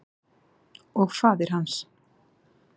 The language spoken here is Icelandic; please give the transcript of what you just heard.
Og faðir hans.